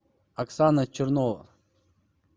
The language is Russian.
оксана чернова